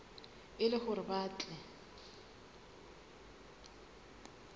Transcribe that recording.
e le hore ba tle